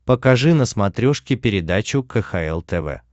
покажи на смотрешке передачу кхл тв